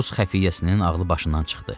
Rus xəfiyyəsinin ağlı başından çıxdı.